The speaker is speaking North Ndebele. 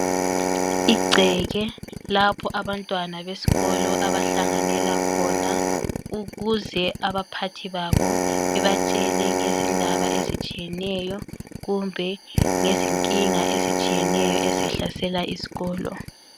Igceke lapho abantwana besikolo abahlanganela khona ukuze abaphathi babo bebatshele ngezindaba ezitshiyeneyo kumbe ngezinkinga ezitshiyeneyo ezihlasela isikolo.